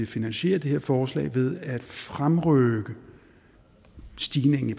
finansiere det her forslag ved at fremrykke stigningen i